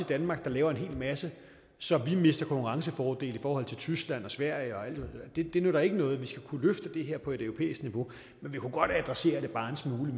danmark der laver en hel masse så vi mister konkurrencefordele i forhold til tyskland og sverige det det nytter ikke noget vi skal kunne løfte det her på et europæisk niveau men vi kunne godt adressere det bare en smule